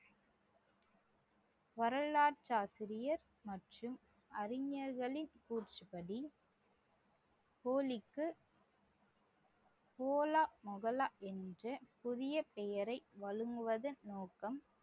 வரலாற்று ஆசிரியர் மற்றும் அறிஞர்களின் கூற்றுப்படி ஓலா முஹல்லா என்று புதிய பெயரை வழங்குவதன் நோக்கம்